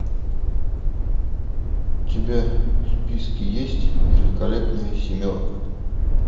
у тебя в списке есть великолепная семерка